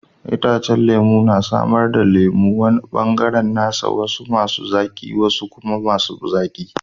Itacen lemu na samar da lemu, wani bangare nasa, wasu masu zaki wasu kuma ba zaki